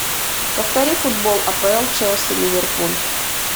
повтори футбол апл челси ливерпуль